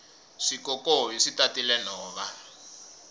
swikokovi swi tatile nhova